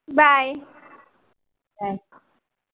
bye